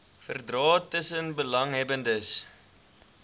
verdrae tussen belanghebbendes